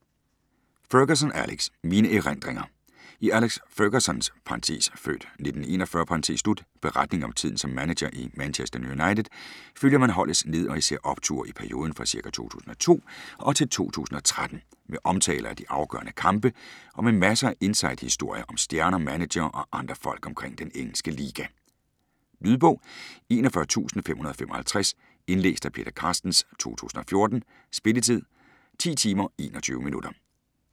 Ferguson, Alex: Mine erindringer I Alex Fergusons (f. 1941) beretning om tiden som manager i Manchester United følger man holdets ned- og især opture i perioden fra ca. 2002 og til 2013, med omtaler af de afgørende kampe og med masser af inside-historier om stjerner, managere og andre folk omkring den engelske liga. Lydbog 41555 Indlæst af Peter Carstens, 2014. Spilletid: 10 timer, 21 minutter.